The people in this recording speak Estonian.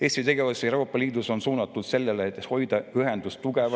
Eesti tegevus Euroopa Liidus on suunatud sellele, et hoida ühendust tugeva …